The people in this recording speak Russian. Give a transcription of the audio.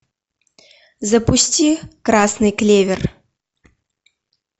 запусти красный клевер